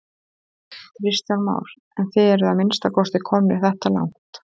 Kristján Már: En þið eruð að minnsta kosti komnir þetta langt?